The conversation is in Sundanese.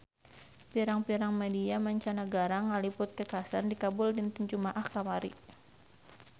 Pirang-pirang media mancanagara ngaliput kakhasan di Kabul dinten Jumaah kamari